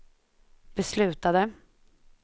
beslutade